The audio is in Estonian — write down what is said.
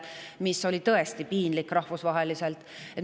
See oli tõesti piinlik rahvusvaheliselt.